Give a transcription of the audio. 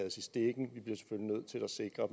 sikre